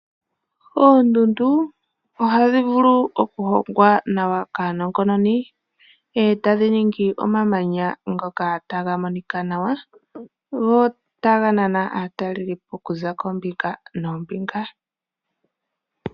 Oondundu ohadhi vulu okuhongwa nawa kaanongononi, e tadhi ningi omamanya ngoka taga monika nawa. Go taga nana aatalelipo okuza koombinga noombinga.